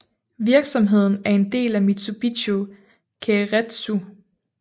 Virksomheden er en del af Mitsubishi keiretsu